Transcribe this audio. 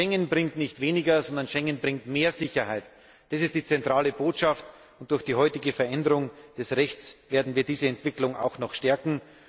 Schengen bringt nicht weniger, sondern mehr Sicherheit. Das ist die zentrale Botschaft, und durch die heutige Veränderung des Rechts werden wir diese Entwicklung auch noch stärken.